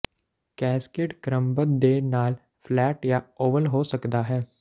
cascade ਕ੍ਰਮਬੱਧ ਦੇ ਨਾਲ ਫਲੈਟ ਜਾਂ ਓਵਲ ਹੋ ਸਕਦਾ ਹੈ